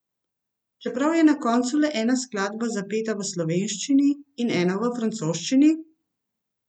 Čeprav je na koncu le ena skladba zapeta v slovenščini in ena v francoščini?